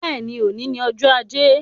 Bẹ́ẹ̀ni, òní ni ọjọ́ ajé.